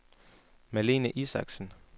Marlene Isaksen